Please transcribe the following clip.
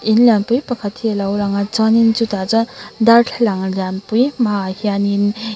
in lianpui pakhat hi a lo lang a chuan in chutah chuan darthlalang lianpui hma ah hian in--